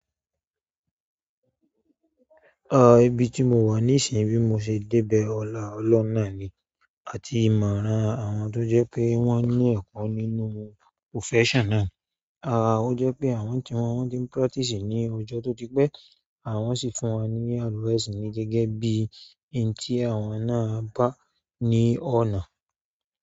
Ah, ibi tí mo wà ní ìsìn bí mo ṣe débẹ̀ ọ̀la ọlọ́hun náà ni àti ìmọ̀ran àwọn tó jẹ́ pé wọ́n ní ẹ̀kọ́ nínú profession náà. Ah, ó jẹ́ pé àwọn tí wọ́n ti ń practice ní ọjọ́ tó dí pé àwọn sì fún wa ní advice ní gẹ́gẹ́ bí n tí àwọn náà bá ní ọ̀nà.